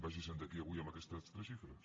vagi se’n d’aquí avui amb aquestes tres xifres